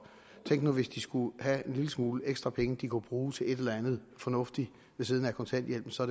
tænk nu hvis de skulle have en lille smule ekstra penge de kunne bruge til et eller andet fornuftigt ved siden af kontanthjælpen så